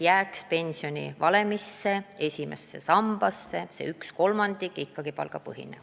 Sisu oli, et pensionivalemisse jääks esimese samba puhul ka palgaosa.